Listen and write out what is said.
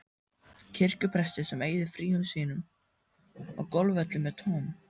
kirkjupresti sem eyðir fríum sínum á golfvellinum með Tom